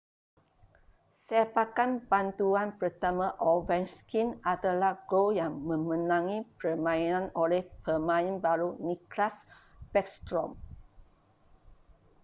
sepakan bantuan pertama ovechkin adalah gol yang memenangi permainan oleh pemain baru nicklas backstrom